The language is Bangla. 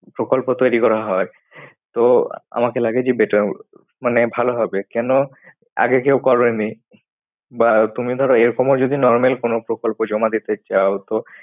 প্রকল্প তৈরি করা হয়। তো আমাকে লাগে যে better মানে ভালো হবে। কেন আগে কেউ করেনি। বা তুমি ধরো এরকমও যদি normal কোন প্রকল্প জমা দিতে চাও তো